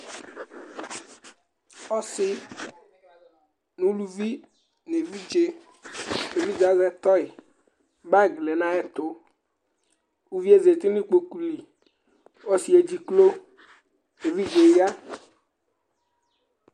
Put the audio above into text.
Ɔsi ŋu uluvi ŋu evidze Evidze azɛ toy Bag lɛ ŋu ayʋ ɛtu Uvíe zɛti ŋu ikpoku li Ɔsi edziklo Evidze ya